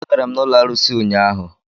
Agara m n'ụlọ arụsị ụnyaahụ.